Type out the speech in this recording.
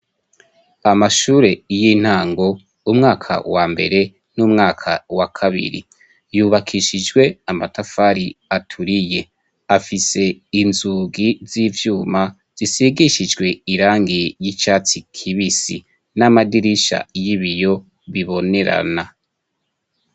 Amashure y'intango umwaka wa mbere n'umwaka wa kabiri, yubakishijwe amatafari aturiye, afise inzugi z'ivyuma, zisigishijwe irangi ry'icatsi kibisi, n'amadirisha y'ibiyo bibonerana.